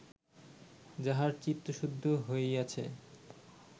যাহার চিত্তশুদ্ধি হইয়াছে